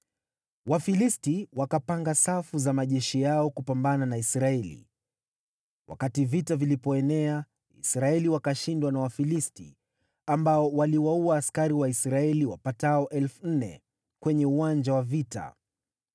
Wafilisti wakapanga safu za majeshi yao kupambana na Israeli, wakati vita vilipoenea, Israeli wakashindwa na Wafilisti, ambao waliwaua askari wa Israeli wapatao 4,000 kwenye uwanja wa vita.